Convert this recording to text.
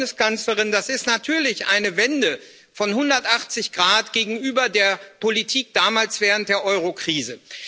Aber, Frau Bundeskanzlerin, das ist natürlich eine Wende von 180 Grad gegenüber der Politik damals während der Eurokrise.